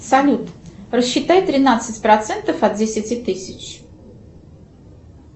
салют рассчитай тринадцать процентов от десяти тысяч